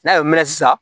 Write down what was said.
N'a y'o mɛn sisan